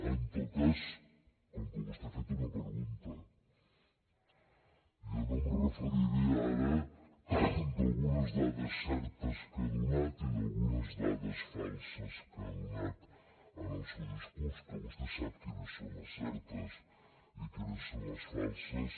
en tot cas com que vostè ha fet una pregunta jo no em referiré ara a algunes dades certes que ha donat i a algunes dades falses que ha donat en el seu discurs que vostè sap quines són certes i quines són les falses